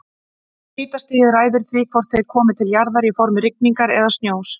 Hitastigið ræður því hvort þeir komi til jarðar í formi rigningar eða snjós.